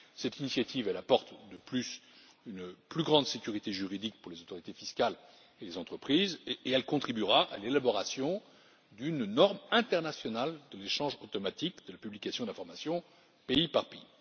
Cette initiative apporte, en outre, une plus grande sécurité juridique pour les autorités fiscales et les entreprises, et elle contribuera à l'élaboration d'une norme internationale de l'échange automatique de la publication d'informations pays par pays.